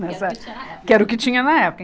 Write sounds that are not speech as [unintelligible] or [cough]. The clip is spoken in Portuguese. [unintelligible] Que era o que tinha na época.